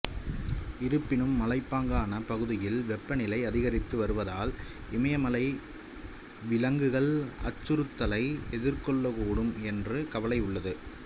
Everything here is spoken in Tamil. இருப்பினும் மலைப்பாங்கான பகுதியில் வெப்பநிலை அதிகரித்து வருவதால் இமயமலை விலங்குகள் அச்சுறுத்தலை எதிர்கொள்ளக்கூடும் என்ற கவலை உள்ளது